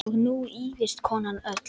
Og nú ýfist konan öll.